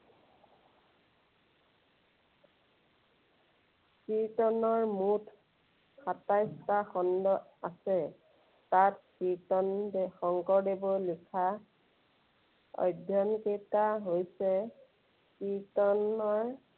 কীৰ্ত্তনৰ মুঠ সাতাইশটা খণ্ড আছে। তাত কীৰ্ত্তন শঙ্কৰদেৱৰ লিখা অধ্যয়নকেইটা হৈছে কীৰ্ত্তনৰ